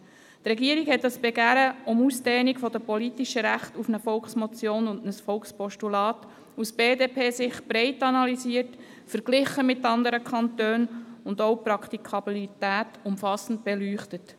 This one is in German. Die Regierung hat dieses Begehren um Ausdehnung der politischen Rechte auf eine Volksmotion und ein Volkspostulat aus BDP-Sicht breit analysiert, mit anderen Kantonen verglichen und auch die Praktikabilität umfassend beleuchtet.